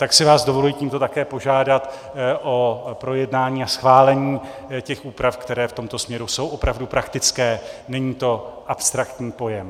Tak si vás dovoluji tímto také požádat o projednání a schválení těch úprav, které v tomto směru jsou opravdu praktické, není to abstraktní pojem.